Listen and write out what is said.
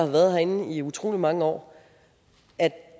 været herinde i utrolig mange år at